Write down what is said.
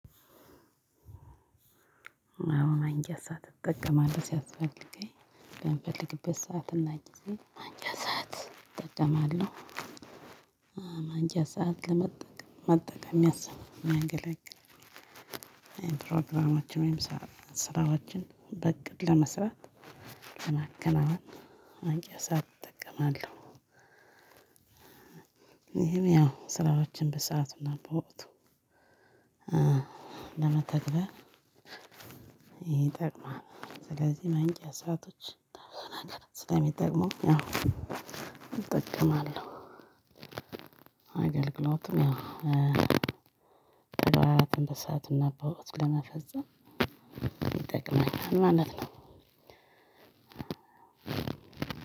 አዎ ማንቂያ ሰዓት እጠቀማለህ ሲያስፈልገኝ በምፈልግበት ሰዓት እና ጊዜ ማንቂያ ሰዓት እጠቀማለሁ። ማንቂያ ሰዓት ለመጠቀም መጠቀም የሚያስብ መንገድ ላይ ፕሮግራማችን ወይም ስራዎችን በእቅድ ለመስራት ለማከናወን ማንቂያ ሰዓት እጠቀማለሁ። ይሄን ያው ስራዎችን በሰአቱና በወቅቱ ለመተግበር ይጠቅማል። ስለዚህ ማንቂያ ሰአቶች ስለሚጠቅሙ ያው እጠቀማለሁ አገልግሎትም ያው በወላትነት ሰአትነት በወቀቱ ለመፈጸም ይጠቅመኛል። ማለት ነው።